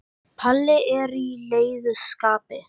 Palli er í leiðu skapi.